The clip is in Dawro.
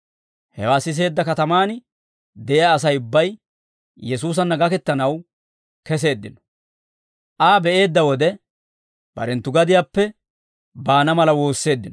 Hewaa siseedda katamaan de'iyaa Asay ubbay Yesuusanna gakettanaw keseeddino; Aa be'eedda wode, barenttu gadiyaappe baana mala woosseeddino.